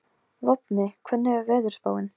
Vopni, hvernig er veðurspáin?